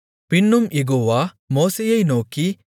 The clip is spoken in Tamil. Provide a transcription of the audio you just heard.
பின்னும் யெகோவா மோசேயை நோக்கி